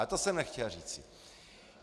Ale to jsem nechtěl říci.